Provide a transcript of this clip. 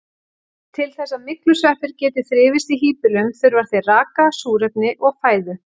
Til þess að myglusveppir geti þrifist í híbýlum þurfa þeir raka, súrefni og fæðu.